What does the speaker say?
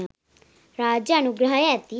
රාජ්‍ය අනුග්‍රහය ඇති